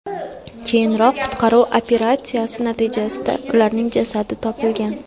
Keyinroq qutqaruv operatsiyasi natijasida ularning jasadi topilgan.